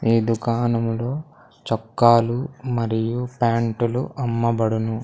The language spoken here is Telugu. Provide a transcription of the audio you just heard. ఈ దుకాణములో చొక్కాలు మరియు ప్యాంటులు అమ్మబడును.